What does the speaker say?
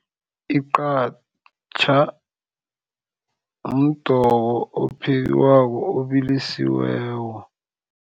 Iqhatjha mdoko ophekwako obilisiweko.